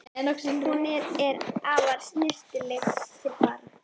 Hún er alltaf snyrtileg til fara.